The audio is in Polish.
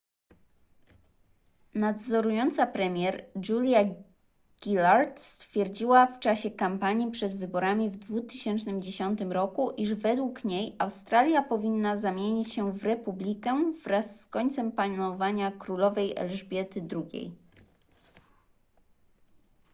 nadzorująca premier julia gillard stwierdziła w czasie kampanii przed wyborami w 2010 roku iż według niej australia powinna zamienić się w republikę wraz z końcem panowania królowej elżbiety ii